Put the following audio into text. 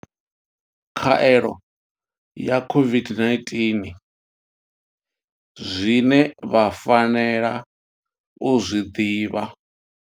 Khaelo ya COVID-19 zwine vha fanela u zwi ḓivha.